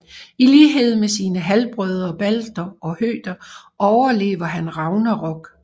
I lighed med sine halvbrødre Balder og Høder overlever han Ragnarok